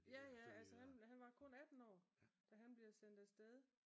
Ja ja altså han var kun atten år den han blev sendt af sted